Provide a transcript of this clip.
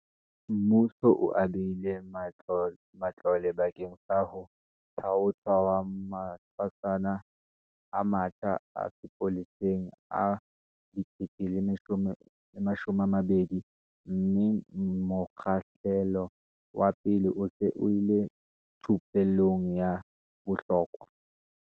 Mmuso o abile matlole bakeng sa ho thaothwa ha matshwasana a matjha a sepolesa a 12 000, mme mokgahlelo wa pele o se o le thupellong ya bohlokwa.